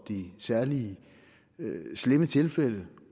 de særlig slemme tilfælde